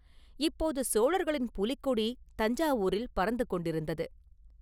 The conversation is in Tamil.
இப்போது சோழர்களின் புலிக்கொடி தஞ்சாவூரில் பறந்து கொண்டிருந்தது.